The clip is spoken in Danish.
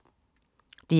DR2